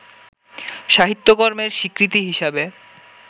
সাহিত্যকর্মের স্বীকৃতি হিসেবে